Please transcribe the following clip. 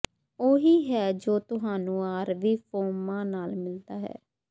ਉਹੀ ਹੈ ਜੋ ਤੁਹਾਨੂੰ ਆਰਵੀ ਫੋਰਮਾਂ ਨਾਲ ਮਿਲਦਾ ਹੈ